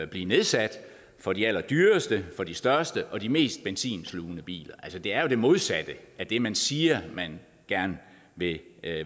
blive nedsat for de allerdyreste største og mest benzinslugende biler altså det er det modsatte af det man siger at man gerne vil